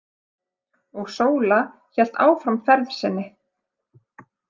Og Sóla hélt áfram ferð sinni.